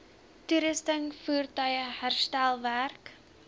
toerusting voertuie herstelwerk